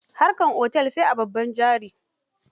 Harkar otel sai da babban jari.